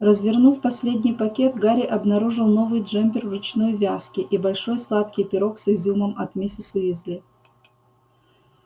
развернув последний пакет гарри обнаружил новый джемпер ручной вязки и большой сладкий пирог с изюмом от миссис уизли